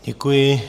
Děkuji.